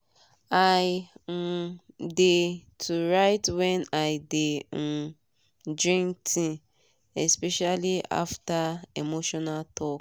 i um dey to write when i de um drink tea especially after emotional talk.